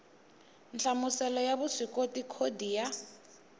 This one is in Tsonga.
nhlamuselo ya vuswikoti khodi ya